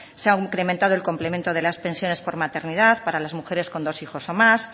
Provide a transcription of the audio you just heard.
se ha incrementado el complemento de las pensiones por maternidad para las mujeres con dos hijos o más